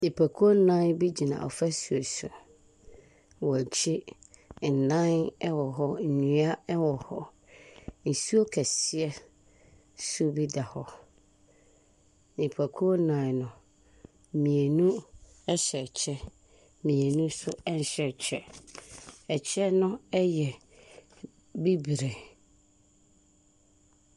Nipakuo nnan bi gyina afasuo so. Wɔn akyi, adan wɔ hɔ, nnua wɔ hɔ. Nsuo kɛseɛ nso bi da hɔ. Nipakuo nnan no, mmienu hyɛ kyɛ, mmienu nso nhyɛ kyɛ. Ɛkyɛ no yɛ bibire.